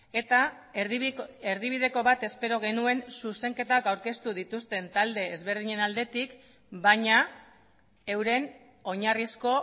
eta erdibideko bat espero genuen zuzenketak aurkeztu dituzten talde ezberdinen aldetik baina euren oinarrizko